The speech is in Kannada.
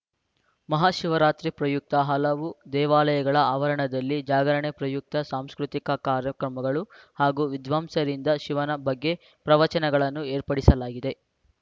ಮಹಾಶಿವರಾತ್ರಿ ಪ್ರಯುಕ್ತ ಹಲವು ದೇವಾಲಯಗಳ ಆವರಣದಲ್ಲಿ ಜಾಗರಣೆ ಪ್ರಯುಕ್ತ ಸಾಂಸ್ಕೃತಿಕ ಕಾರ್ಯಕ್ರಮಗಳು ಹಾಗೂ ವಿದ್ವಾಂಸರಿಂದ ಶಿವನ ಬಗ್ಗೆ ಪ್ರವಚನಗಳನ್ನು ಏರ್ಪಡಿಸಲಾಗಿದೆ